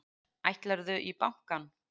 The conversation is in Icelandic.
Ætlarðu í bankann?